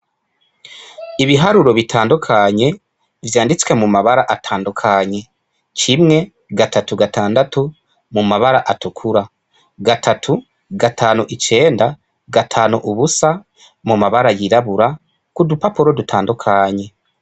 Ibiharuro bitandukanye vyanditswe mu mabara atandukanye, kimwe gatatu gatandatu mu mabara atukura, batatu gatanu icenda gatanu ubusa mu mabara yirabura kudupapuro dutandukanye.